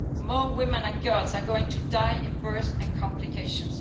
More women and girls are going to die in birth and complications.